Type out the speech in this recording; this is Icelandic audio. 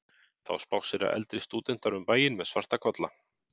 Þá spássera eldri stúdentar um bæinn með svarta kolla.